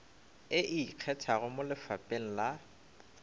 e ikgethago mo lefapheng la